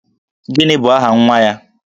Gini bụ aha nwa ya?